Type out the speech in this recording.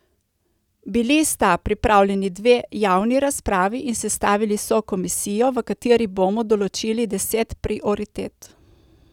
Bili sta pripravljeni dve javni razpravi in sestavili so komisijo, v kateri bomo določili deset prioritet.